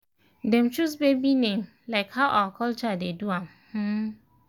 dem choose baby name like how our culture dey do m m um